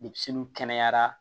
Denmisɛnninw kɛnɛyara